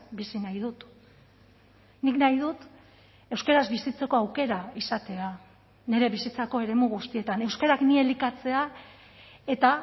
bizi nahi dut nik nahi dut euskaraz bizitzeko aukera izatea nire bizitzako eremu guztietan euskarak ni elikatzea eta